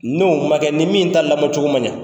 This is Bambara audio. N'o man kɛ ni min ta lamɔcogo man ɲɛ.